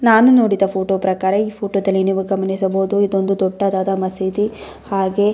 ನಾನು ನೋಡಿದ ಫೋಟೋ ಪ್ರಕಾರ ಈ ಫೋಟೋದಲ್ಲಿ ನೀವು ಗಮನಿಸಬಹುದು ಇದೊಂದು ದೊಡ್ಡದಾದ ಮಸೀದಿ ಹಾಗೆ --